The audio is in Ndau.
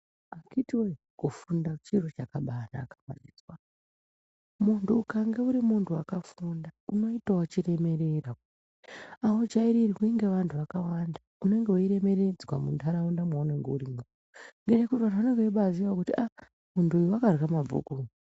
Akitiww kufunda chiro chakabanaka mazvizwa, muntu ukange urimuntu wakafunda unoitawo chiremerera aujairirwi ngevantu vakawanda unenge weiremeredzwa muntaraunda mwaunemge urimwo ngekuti vanhu vanenge veiziyawo aaa muntu uyu wakarya mabhuku.